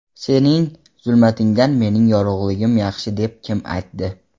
Sening zulmatingdan mening yorug‘ligim yaxshi deb kim aytdi?!.